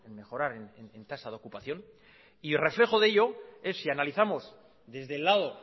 mejorar en tasa de ocupación y reflejo de ello es si analizamos desde el lado